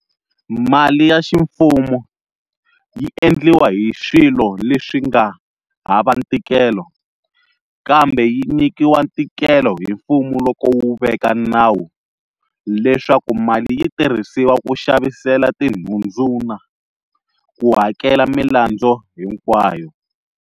Mali ya ximfumo, yi endliwa hi swilo leswi nga hava ntikelo, kambe yi nyikiwa ntikelo hi mfumo loko wu veka nawu leswaku mali yitirhisiwa ku xavisela tinhundzu na ku hakela milandzu hinkwayo.